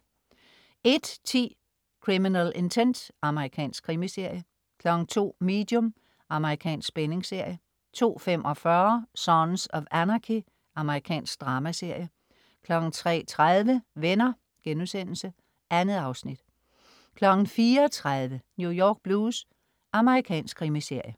01.10 Criminal Intent. Amerikansk krimiserie 02.00 Medium. Amerikansk spændingsserie 02.45 Sons of Anarchy. Amerikansk dramaserie 03.30 Venner* 2 afsnit 04.30 New York Blues. Amerikansk krimiserie